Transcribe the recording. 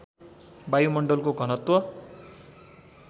वायुमण्डलको घनत्व